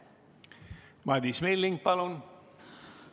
Madis Milling, palun!